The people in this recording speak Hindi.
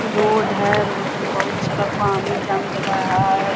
रोड है रोड मे बोहुत सारा पानी जम गेले हय।